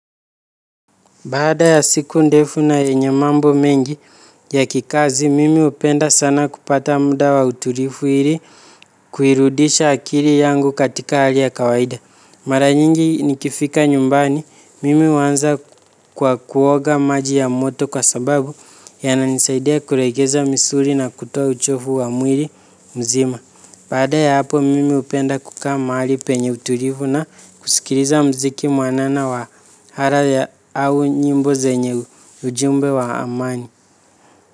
Bada ya siku ndefu na yenye mambo mengi ya kikazi, mimi hupenda sana kupata muda wa utulivu ili kuirudisha akili yangu katika hali ya kawaida. Maranyingi nikifika nyumbani, mimi huanza kwa kuoga maji ya moto kwa sababu ya nanisaidea kuregeza misuri na kutoa uchovu wa mwili mzima. Baada ya hapo mimi hupenda kukaa mahali penye utulivu na kusikiliza muziki mwanana wa hara ya au nyimbo zenye ujumbe wa amani.